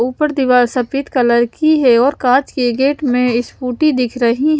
ऊपर दीवार सफेद कलर की है और कांच के गेट में स्कूटी दिख रही --